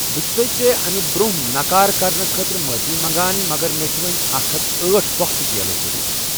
بہٕ چُھ سَے ژےٚ اَمہِ برٛونٛہہ نَکار کرنہٕ خٲطرٕ معٲفی منٛگان، مگر مےٚ چھےٚ وۄنۍ اکھ ہتھ أٹھ پۄختہٕ کیلہٕ ضٔروٗرَتھ۔